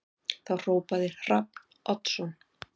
Þá hrópaði Hrafn Oddsson